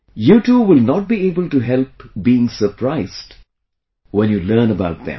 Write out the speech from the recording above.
You too will not be able to help being surprised when you learn about them